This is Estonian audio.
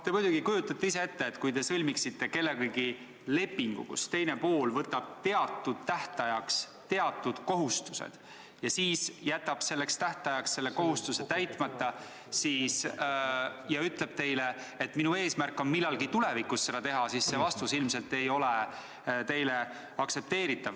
Te muidugi kujutate ise ka ette, et kui te sõlmite kellegagi lepingu, millega teine pool võtab teatud tähtajaks teatud kohustused, ja siis jätab ta selleks tähtajaks selle kohustuse täitmata ja ütleb teile, et tema eesmärk on millalgi tulevikus seda teha, siis see vastus ei ole teie arvates ilmselt aktsepteeritav.